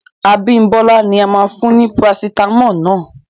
Abimbola ni a máa fún ní Parasitamọ́ọ̀ náà